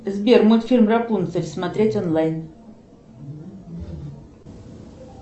сбер мультфильм рапунцель смотреть онлайн